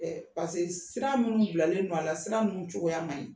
Ɛɛ parce que sira minnu bilalen don a la sira ninnu cogoya man ɲi